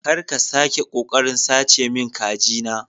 Kar ka sake kokarin sace min kajina